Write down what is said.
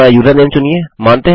अपना यूज़रनेम चुनिए